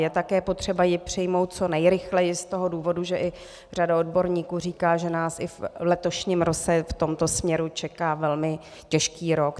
Je také potřeba ji přijmout co nejrychleji i z toho důvodu, že řada odborníků říká, že nás i v letošním roce v tomto směru čeká velmi těžký rok.